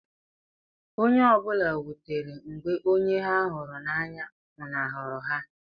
Onye ọ bụla wutere mgbe onye ha hụrụ n’anya nwụnahụrụ ha.